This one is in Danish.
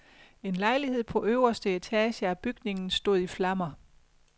En lejlighed på øverste etage af bygningen stod i flammer.